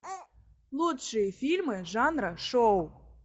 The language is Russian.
лучшие фильмы жанра шоу